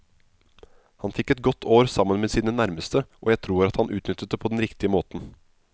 Han fikk et godt år sammen med sine nærmeste, og jeg tror at han utnyttet det på den riktige måten.